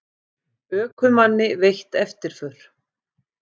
Ökumanni veitt eftirför